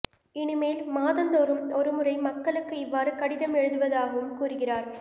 இனிமேல் மாதந்தோறும் ஒரு முறை மக்களுக்கு இவ்வாறு கடிதம் எழுதுவதாகவும் கூறுகிறார்